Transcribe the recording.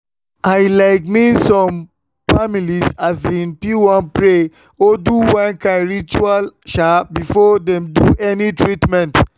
i like mean some um families fit wan pray or do one kind ritual um before dem do any treatment.